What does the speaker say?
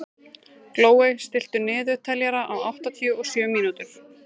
Glóey, stilltu niðurteljara á áttatíu og sjö mínútur.